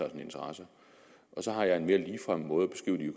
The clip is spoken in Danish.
interesser og så har jeg en mere ligefrem måde